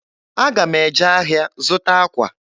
Aga m eje ahịa zụta akwa.